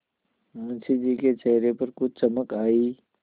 मुंशी जी के चेहरे पर कुछ चमक आई